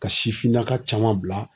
Ka sifinnaka caman bila